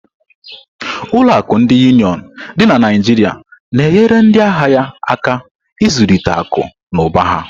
Ụlọ akụ ndi Uniọn dị na Naijiria na-enyere ndị ahịa ya aka ịzụlite akụ na ụba ha.